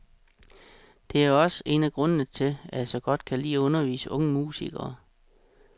Det er også en af grundene til at jeg så godt kan lide at undervise unge musikere.